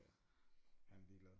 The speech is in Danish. Ja han er ligeglad